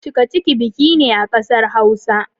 cikaciki biki ne a kasar Hausa.